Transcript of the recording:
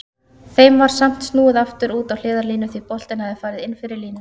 Þeim var samt snúið aftur út á hliðarlínu því boltinn hafði farið inn fyrir línuna.